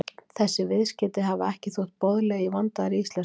Þessi viðskeyti hafa ekki þótt boðleg í vandaðri íslensku.